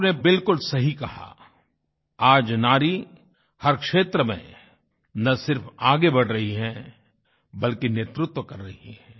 आपने बिलकुल सही कहा आज नारी हर क्षेत्र में न सिर्फ आगे बढ़ रही है बल्कि नेतृत्व कर रही है